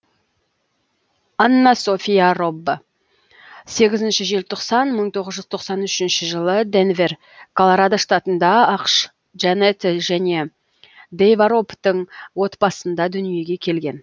аннасофия робб сегізінші желтоқсан мың тоғыз жүз тоқсан үшінші жылы дэнвер колорадо штатында ақш джанет және дейва роббтың отбасында дүниеге келген